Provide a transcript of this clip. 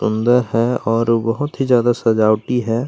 सुंदर है और बहुत ही ज्यादा सजावटी है।